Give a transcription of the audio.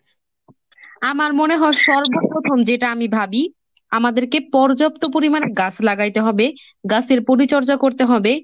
আমার মনে হয় সর্বপ্রথম যেটা আমি ভাবি আমাদেরকে পর্যাপ্ত পরিমাণ গাছ লাগাইতে হবে গাছের পরিচর্যা করতে হবে।